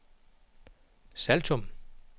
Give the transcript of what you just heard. Saltum